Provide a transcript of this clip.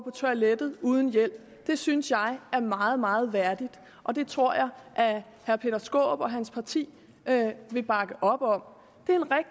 toilettet uden hjælp det synes jeg er meget meget værdigt og det tror jeg at herre peter skaarup og hans parti vil bakke op om